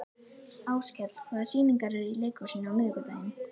Áskell, hvaða sýningar eru í leikhúsinu á miðvikudaginn?